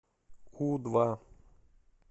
у два